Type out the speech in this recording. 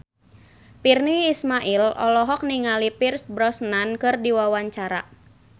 Virnie Ismail olohok ningali Pierce Brosnan keur diwawancara